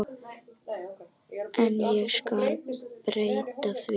En ég skal breyta því.